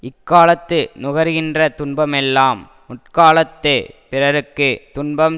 இக்காலத்து நுகர்கின்ற துன்பமெல்லாம் முற்காலத்துப் பிறருக்கு துன்பம்